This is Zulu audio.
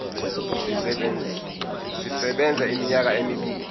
sisebenza iminyaka emibili